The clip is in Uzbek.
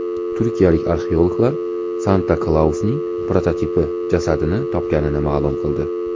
Turkiyalik arxeologlar Santa-Klausning prototipi jasadini topganini ma’lum qildi.